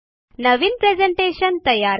नवीन presentation तयार करा